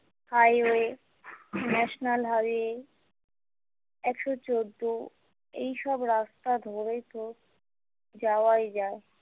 highway national highway একশো চোদ্দ এইসব রাস্তা ধরে তো যাওয়াই যায়।